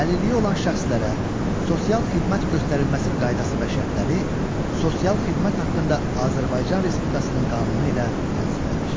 Əlilliyi olan şəxslərə sosial xidmət göstərilməsi qaydası və şərtləri sosial xidmət haqqında Azərbaycan Respublikasının qanunu ilə tənzimlənir.